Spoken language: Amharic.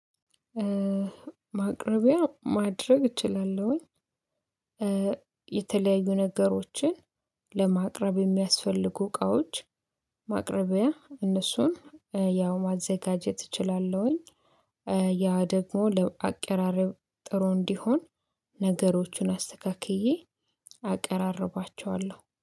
ማቅረቢያ ማድረግ እችላለሁኝ። የተለያዩ ነገሮችን ለማቅረብ የሚያስፈልጉ እቃዎች ማቅረቢያ እነሱን ያው ማዘጋጀት እችላለሁኝ። ያ ደግሞ ለአቀራረብ ጥሩ እንዲሆን ነገሮችን አስተካክዬ አቀራርቧቸዋለሁ